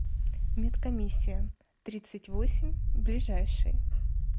медкомиссия тридцать восемь ближайший